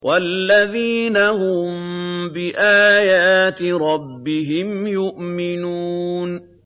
وَالَّذِينَ هُم بِآيَاتِ رَبِّهِمْ يُؤْمِنُونَ